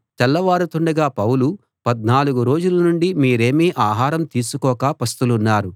తెల్లవారుతుండగా పౌలు పద్నాలుగు రోజుల నుండి మీరేమీ ఆహారం తీసుకోక పస్తులున్నారు